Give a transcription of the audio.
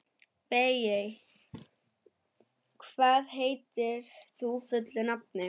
Evey, hvað heitir þú fullu nafni?